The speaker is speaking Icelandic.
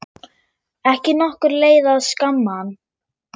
Ekki nokkur leið að skamma hann.